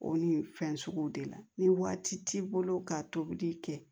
O ni fɛn suguw de la ni waati t'i bolo ka tobili kɛ